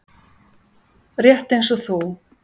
Rétt eins og þú.